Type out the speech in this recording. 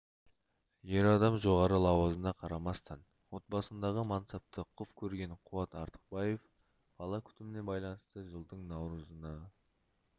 ер адам жоғары лауазымына қарамастан отбасындағы мансапты құп көрген қуат артықбаев бала күтіміне байланысты жылдың наурызына